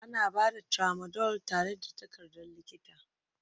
Ana ba da Tramadol tare da takardar likita